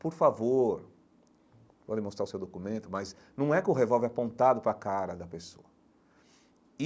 Por favor, pode mostrar o seu documento, mas não é com o revólver apontado para a cara da pessoa.